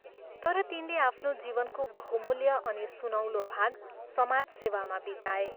तर तिनले आफ्नो जीवनको बहुमूल्य अनि सुनौलो भाग समाज सेवामा बिताए।